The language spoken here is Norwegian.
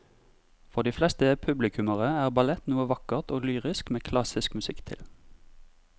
For de fleste publikummere er ballett noe vakkert og lyrisk med klassisk musikk til.